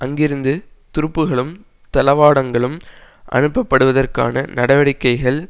அங்கிருந்து துருப்புகளும் தளவாடங்களும் அனுப்பப்படுவதற்கான நடவடிக்கைகள்